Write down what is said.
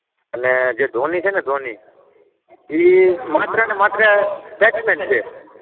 એટલે ધોની છે ને ધોની એ માત્ર ને માત્ર બેટ્સ મેન છે.